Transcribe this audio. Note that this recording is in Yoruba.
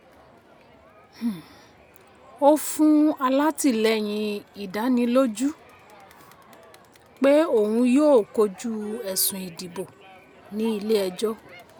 um ó fún alátilẹ́yin ìdánilójú um pé òun yóò kojú ẹ̀sùn ìdìbò ní ilé ẹjọ́.